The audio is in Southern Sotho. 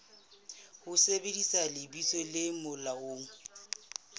ho sebedisa lebitso le molaong